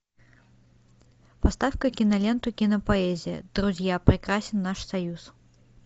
поставь ка киноленту кинопоэзия друзья прекрасен наш союз